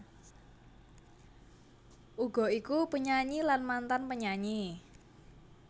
Uga iku penyanyi lan mantan penyanyi